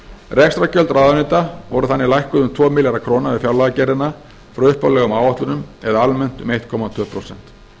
rekstrargjöld ráðuneyta voru þannig lækkuð um tvo milljarða króna við fjárlagagerðina frá upphaflegum áætlunum eða almennt um einn komma tvö prósent